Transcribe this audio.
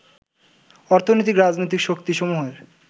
অর্থনৈতিক, রাজনৈতিক শক্তিসমূহের